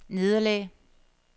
nederlag